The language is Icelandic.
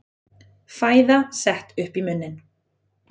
Fæða sett upp í munninn.